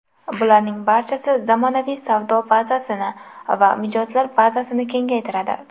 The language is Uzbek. Bularning barchasi zamonaviy savdo bazasini va mijozlar bazasini kengaytiradi.